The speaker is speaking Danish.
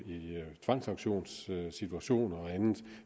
tvangsauktionssituationer og andet